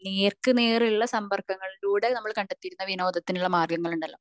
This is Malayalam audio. അല്ലെങ്കിൽ നേർക്കുനേർ ഉള്ള സംബർഗങ്ങളിലൂടെ നമ്മൾ കണ്ടെത്തിയിരുന്ന വിനോദത്തിനുള്ള മാര്ഗങ്ങള് ഇണ്ടല്ലോ